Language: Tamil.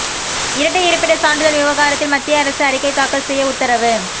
இரட்டை இருப்பிடச் சான்றிதழ் விவகாரத்தில் மத்திய அரசு அறிக்கை தாக்கல் செய்ய உத்தரவு